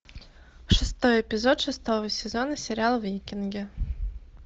шестой эпизод шестого сезона сериал викинги